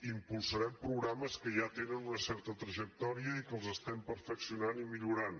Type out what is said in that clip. impulsarem programes que ja tenen una certa trajectòria i que els estem perfeccionant i millorant